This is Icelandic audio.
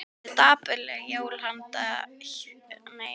Það verða dapurleg jól hjá þér skrifar Helgi.